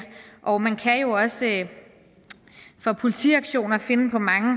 og man kan jo også for politiaktioner finde på mange